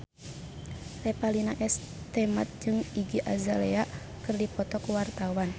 Revalina S. Temat jeung Iggy Azalea keur dipoto ku wartawan